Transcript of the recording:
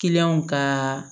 ka